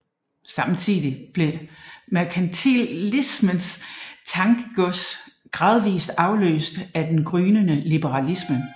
Samtidig blev merkantilismens tankegods gradvist afløst af den gryende liberalisme